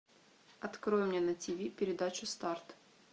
открой мне на тв передачу старт